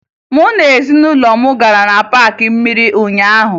Mụ na ezinụlọ m gara na paakị mmiri ụnyaahụ